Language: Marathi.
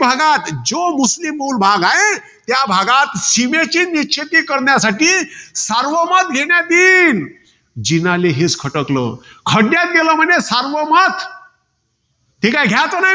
भागात, मुस्लीम जो बहुल भाग आहे. त्या भागात, सीमेची निश्चिती करण्यासाठी सार्वमत घेण्यात येईल. जीनाले हेच खटकलं. खड्यात गेलं म्हणे सार्वमत. हे काय घ्यायचं नाही.